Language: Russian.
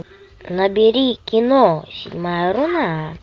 набери кино седьмая руна